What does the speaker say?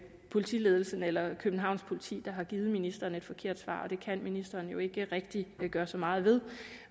politiledelsen eller københavns politi der har givet ministeren et forkert svar og det kan ministeren jo ikke rigtig gøre så meget ved